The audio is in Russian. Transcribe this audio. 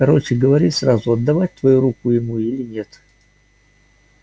короче говори сразу отдавать твою руку ему или нет